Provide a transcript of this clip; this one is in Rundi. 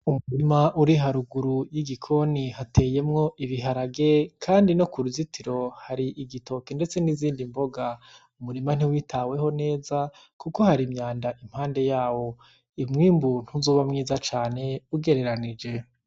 Umurima uri haruguru y'igikoni hateyemwo ibiharage. Kandi no kuruzitiro hateye igitoki, ndetse n'izindi mboga. Uwo murima ntiwitaweho neza kuko hari imyanda impande yawo. Umwimbu ntuzoba mwiza cane ugereranije.